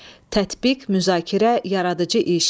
Tətbiq, müzakirə, yaradıcı iş.